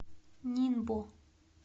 нинбо